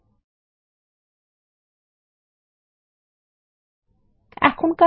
আমরা ফাংশন শর্তাবলী যোগ বা তথ্য যেকোনো ক্রমে সাজানো যেতে পারে